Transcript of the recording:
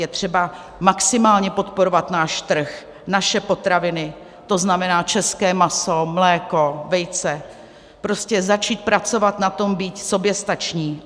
Je třeba maximálně podporovat náš trh, naše potraviny, to znamená české maso, mléko, vejce, prostě začít pracovat na tom být soběstační.